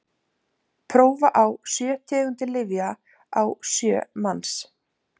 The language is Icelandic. prófa á sjö tegundir lyfja á sjö manns